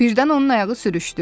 Birdən onun ayağı sürüşdü.